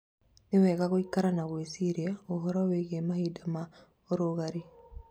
nĩ wega gũikara na gwĩciria ũhoro wĩgiĩ mahinda ma ũrugarĩ